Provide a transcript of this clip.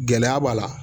Gɛlɛya b'a la